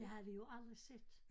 Det havde vi jo aldrig set